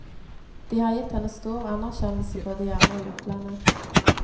De har gitt henne stor anerkjennelse både hjemme og i utlandet.